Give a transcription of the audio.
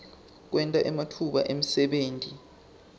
kwenta ematfuba emsebenti